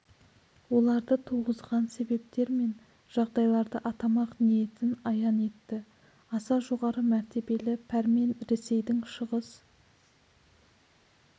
оларды туғызған себептер мен жағдайларды атамақ ниетін аян етті аса жоғары мәртебелі пәрмен ресейдің шығыс